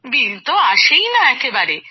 বিল তো আসেই না একেবারে